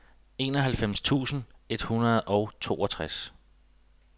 enoghalvfems tusind et hundrede og toogtres